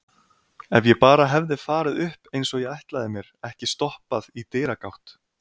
Ef ég bara hefði farið upp eins og ég ætlaði mér, ekki stoppað í dyragátt.